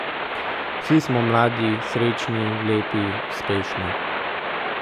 Vsi smo mladi, srečni, lepi, uspešni ...